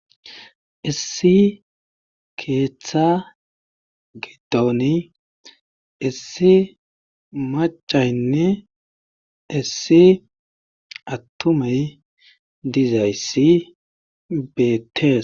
Issi keeththa gidooni issi macaynne issi attumey dizayssi beettees.